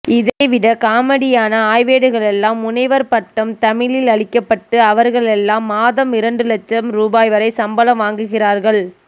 இதைவிட காமெடியான ஆய்வேடுகளுக்கெல்லாம் முனைவர் பட்டம் தமிழில் அளிக்கப்பட்டு அவர்களெல்லாம் மாதம் இரண்டுலட்சம் ரூ வரை சம்பளம் வாங்குகிறார்கள்